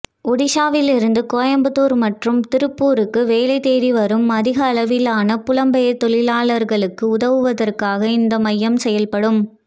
ஒடிஷாவிலிருந்து கோயம்புத்தூர் மற்றும் திருப்பூருக்கு வேலை தேடி வரும் அதிக அளவிலான புலம்பெயர் தொழிலாளர்களுக்கு உதவுவதற்காக இந்த மையம் செயல்படும்